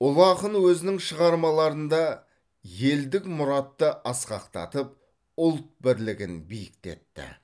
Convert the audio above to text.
ұлы ақын өзінің шығармаларында елдік мұратты асқақтатып ұлт бірлігін биіктетті